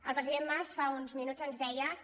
el president mas fa uns minuts ens deia que